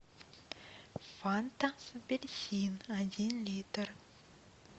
фанта апельсин один литр